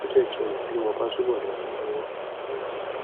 ẹ jẹh kí n mọ bí mo bá túbọ le ràn yín lọwọ ire o